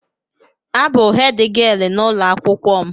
A bụ hèdgịelu n'ụlọ akwụkwọ m.